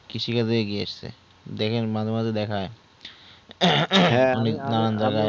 কৃষি কাজে গিয়েছে দেখেন মাঝে মাঝে দেখায় হ্যাঁ হ্যাঁ আমি